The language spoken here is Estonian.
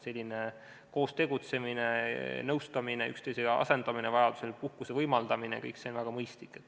Selline koos tegutsemine, nõustamine, üksteise asendamine, vajaduse korral puhkuse võimaldamine – kõik see on väga mõistlik.